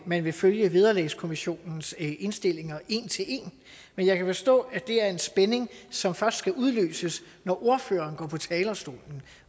man vil følge vederlagskommissionens indstillinger en til en men jeg kan forstå at det er en spænding som først skal udløses når ordføreren går på talerstolen